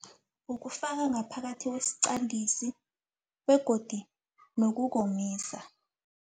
Ukufaka ngaphakathi kwesiqandisi begodi nokukomisa.